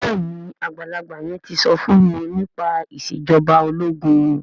béèni àgbàlagbà yen tí so fún wón nípa Ìṣèjọba ológun.